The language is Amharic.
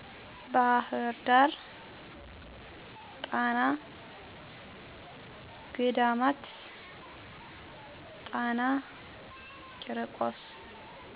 ባህር ዳር ጣና ገዳማት ጣና ቄርቆስ